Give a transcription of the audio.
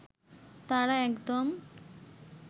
তারা একদম